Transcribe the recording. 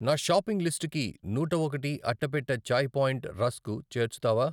నా షాపింగ్ లిస్టుకి నూట ఒకటి అట్టపెట్టె చాయి పాయింట్ రస్కు చేర్చుతావా?